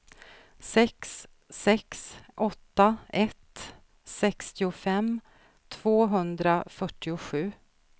sex sex åtta ett sextiofem tvåhundrafyrtiosju